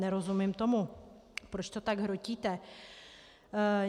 Nerozumím tomu, proč to tak hrotíte.